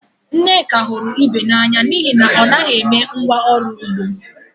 Nneka hụrụ Ibe n'anya n'ihi na ọ na-eme ngwá ọrụ ugbo